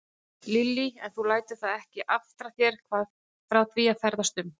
Lillý: En þú lætur það ekki aftra þér frá því að ferðast um?